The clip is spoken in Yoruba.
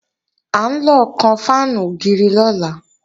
À ń lọ kan fáànù ògiri lọ́la